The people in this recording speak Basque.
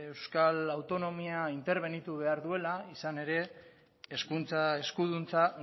euskal autonomia interbenitu behar duela izan ere hezkuntza eskuduntza